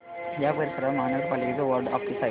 या परिसरात महानगर पालिकेचं वॉर्ड ऑफिस आहे का